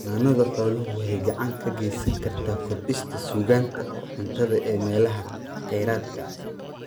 Xanaanada xooluhu waxay gacan ka gaysan kartaa kordhinta sugnaanta cuntada ee meelaha kheyraadka ah.